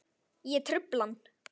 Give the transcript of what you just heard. Ég trufla hann.